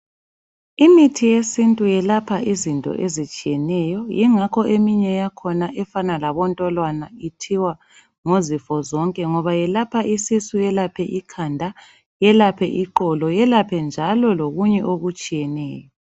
Imithi yesintu yelapha izinto ezitshiyeneyo ingakho eminye yakhona efana labontolwana ithiwa ngozifo zonke ngoba yelapha isisu yelaphe ikhanda yelaphe iqolo yelaphe njalo lokunye okutshiyeneyo.